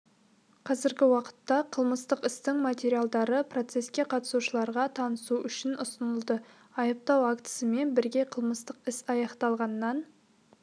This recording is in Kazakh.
қазіргі уақытта қылмыстық істің материалдары процеске қатысушыларға танысу үшін ұсынылды айыптау актісімен бірге қылмыстық іс аяқталғаннан